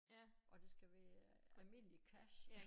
Og det skal være almindelig cash